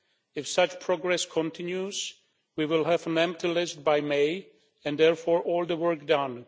If such progress continues we will have an empty list by May and therefore all the work done.